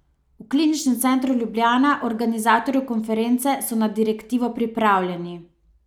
V kliničnem centru Ljubljana, organizatorju konference, so na direktivo pripravljeni.